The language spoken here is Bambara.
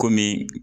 Kɔmi